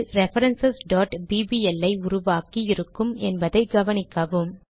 அது reference bbl ஐ உருவாக்கி இருக்கும் என்பதை கவனிக்கவும்